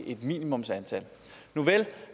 et minimumsantal nuvel